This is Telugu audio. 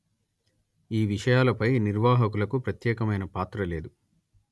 ఈ విషయాలపై నిర్వాహకులకు ప్రత్యేకమైన పాత్ర లేదు